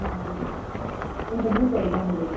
ತುಳುವಿನಲ್ಲಿ ಎಂತ ಭೂತಾಯ್ ಬಂಗುಡೆ.